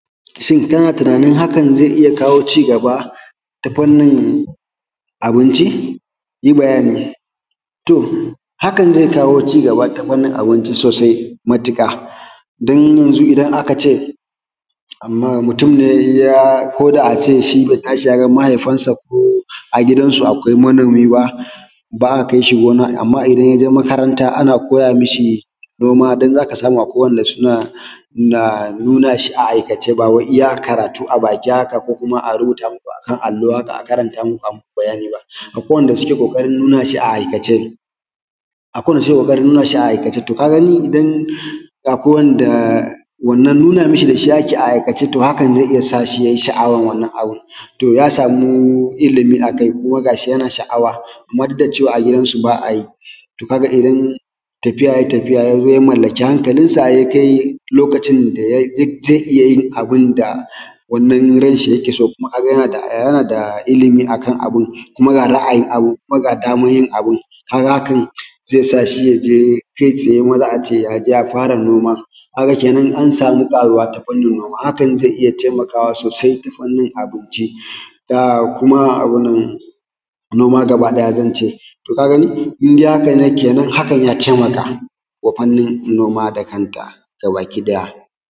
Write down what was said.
shin ka na tunanin hakan zai iya kawo cigaba ta fannin abinci yi bayani to hakan zai kawo cigaba ta fannin abinci sosai matuƙa don yanzu idan aka ce amma mutum ne koda a ce bai tashi ya ga mahaifinsa ko a gidansu akwai manomi ba ba a kai shi gona amma idan ya je makaranta ana koya mishi noma don zaka samu akwai wanda suna nuna shi a aikace ba wai iya karatu a baki haka ko kuma a rubuta muku a kan allo a karanta muku a muku bayani ba akwai wanda suke ƙoƙarin nuna shi a aikace to ka gani idan akwai wanda wannan nuna mishi da shi ake a aikace to hakan zai iya sa shi ya yi sha’awar wannan abun to ya samu ilimi a kai kuma ga shi yana sha’awa kuma duk da cewa a gidansu ba a yi to ka ga idan tafiya yai tafiya ya zo ya mallaki hankalinsa ya kai lokacin da ya ji zai iya yin abunda wannan ran shi yake so kuma ka ga yana da ilimi akan abun kuma ga ra’ayin abun kuma ga daman yin abun ka ga hakan zai sa shi ya je kai tsaye a ce ya je ya fara noma ka ga kenan an samu ƙaruwa ta fannin noma hakan zai iya taimakawa sosai ta fannin abinci da kuma noma gaba ɗaya zan ce to ka gani in dai haka ne kenan hakan ya taimaka wa fannin noma da kanta gabakiɗaya